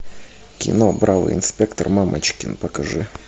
кино бравый инспектор мамочкин покажи